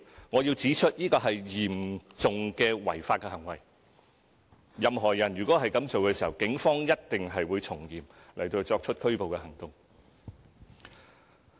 我要指出，這是嚴重的違法行為，任何人如果這樣做，警方一定會從嚴拘捕。